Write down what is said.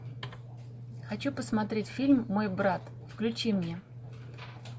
хочу посмотреть фильм мой брат включи мне